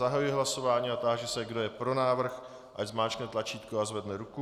Zahajuji hlasování a táži se, kdo je pro návrh, ať zmáčkne tlačítko a zvedne ruku.